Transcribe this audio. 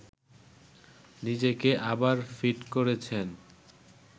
নিজেকে আবার ফিট করেছেন